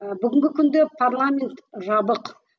ыыы бүгінгі күнде парламент жабық